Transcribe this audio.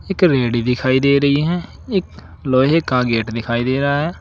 एक रेडी दिखाई दे रही है एक लोहे का गेट दिखाई दे रहा है।